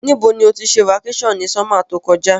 Ní bo ni o ti se vacation ni summer to kojá